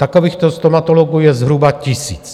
Takovýchto stomatologů je zhruba tisíc.